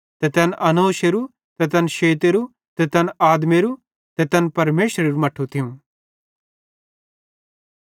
ते तैन एनोशेरू ते तैन शेतेरू ते तैन आदमेरो ते तैन परमेशरेरू मट्ठू थियूं